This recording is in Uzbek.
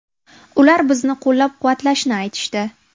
Ular bizni qo‘llab-quvvatlashni aytishdi.